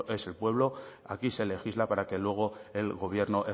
es el pueblo aquí se legisla para que luego el gobierno